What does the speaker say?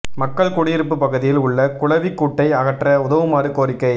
மக்கள் குடியிருப்பு பகுதியில் உள்ள குளவி கூட்டை அகற்ற உதவுமாறு கோரிக்கை